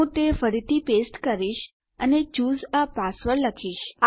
હું તે ફરીથી પેસ્ટ કરીશ અને ચૂસે એ પાસવર્ડ લખીશ